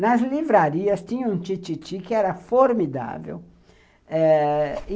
Nas livrarias tinha um tititi que era formidável.